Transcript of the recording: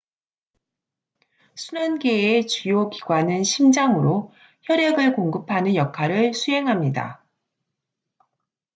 순환계의 주요 기관은 심장으로 혈액을 공급하는 역할을 수행합니다